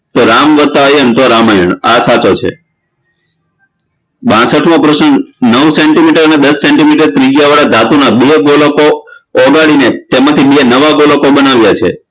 તો રામ વતા એમ તો રામાયણ આ સાચો છે બાસઠમો પ્રશ્ન નવ centimeters અને દસ centimeters ત્રિજ્યાવાળા ધાતુના બે ગોળકો ઓગાળીને તેમાંથી બે નવા ગોળકો બનાવ્યા છે